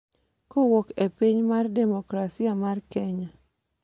kowuok e piny Piny Mar Demokrasia mar Kenya